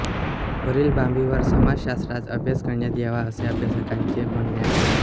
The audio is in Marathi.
वरील बाबींवर समाजशास्त्रात अभ्यास करण्यात यावा असे अभ्यासकांचे म्हणणे आहे